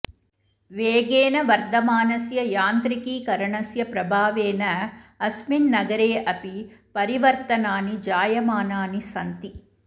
वेगेन वर्धमानस्य यान्त्रिकीकरणस्य प्रभावेन अस्मिन् नगरे अपि परिवर्तनानि जायमानानि सन्ति